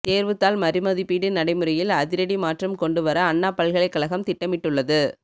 தேர்வுத்தாள் மறுமதிப்பீடு நடைமுறையில் அதிரடி மாற்றம் கொண்டு வர அண்ணா பல்கலைக்கழகம் திட்டமிட்டுள்ளது